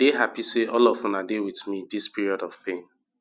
i dey happy say all of una dey with me dis period of pain